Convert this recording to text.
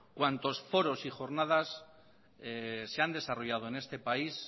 cuantos foros y jornadas se han desarrollado en este país